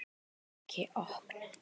Ekki opna